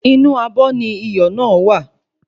Inú abọ́ ni iyọ̀ náà wà